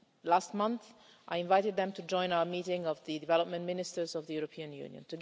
Last month I invited them to join our meeting of the Development Ministers of the European Union.